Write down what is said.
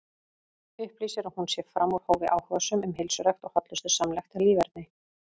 Upplýsir að hún sé fram úr hófi áhugasöm um heilsurækt og hollustusamlegt líferni.